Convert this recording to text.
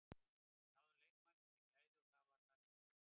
Við náðum í leikmenn með gæði og það er það sem þú vilt.